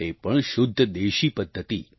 તે પણ શુદ્ધ દેશી પદ્ધતિ